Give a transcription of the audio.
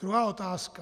Druhá otázka.